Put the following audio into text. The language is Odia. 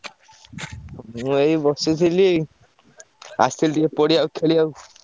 ମୁଁ ଏଇ ବସିଥିଲି। ଆସିଥିଲି ଟିକେ ପଡିଆକୁ ଖେଳିଆକୁ।